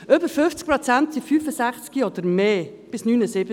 Über 50 Prozent sind 65 Jahre alt oder älter – bis 79 Jahre.